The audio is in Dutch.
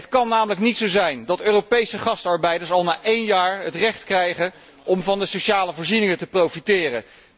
Het kan namelijk niet zo zijn dat Europese gastarbeiders al na één jaar het recht krijgen om van de sociale voorzieningen te profiteren.